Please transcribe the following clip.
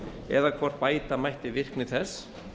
eða hvort bæta mætti virkni þess